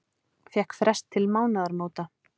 Fékk frest til mánaðamóta